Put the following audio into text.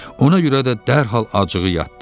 Ona görə də dərhal acığı yatdı.